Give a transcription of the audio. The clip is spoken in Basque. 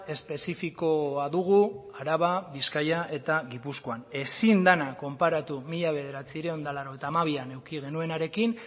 espezifikoa dugu araba bizkaia eta gipuzkoan ezin dena konparatu mila bederatziehun eta laurogeita hamabian eduki genuenarekin